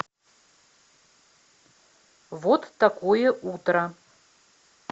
вот такое утро